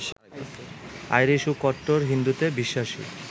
Irish ও কট্টর হিন্দুত্বে বিশ্বাসী